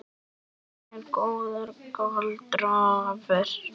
Það er góðra gjalda vert.